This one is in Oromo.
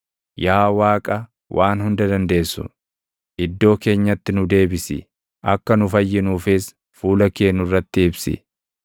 Yaa Waaqa Waan Hunda Dandeessu, // iddoo keenyatti nu deebisi; akka nu fayyinuufis fuula kee nurratti ibsi.